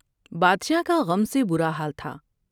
بادشاہ کا غم سے برا حال تھا ۔